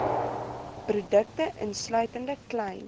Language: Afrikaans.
produkte insluitende klein